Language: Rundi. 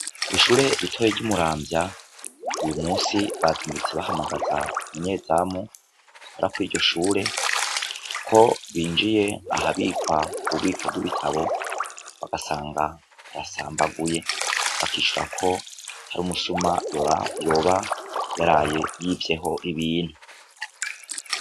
Kw'ishure ritoyi ryi Muramvya, uyu musi bavyutse bahamagaza umunyezamu akora kuriryo shure, ko binjiye ahabikwa ububiko bw'ibitabo bagasanga birasambaguye bakicura ko hari umusuma yoba yaraye yivyeho ibintu.